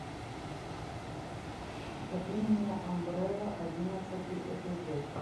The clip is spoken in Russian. академия амбрелла одиннадцатый эпизод